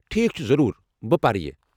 ٹھیک چھُ، ضروٗر، بہٕ پرٕ یہِ۔